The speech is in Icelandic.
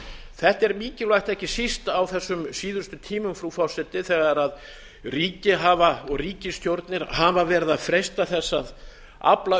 þetta er mikilvægt ekki síst á þessum síðustu tímum frú forseti þegar ríki og ríkisstjórnir hafa verið að freista þess að afla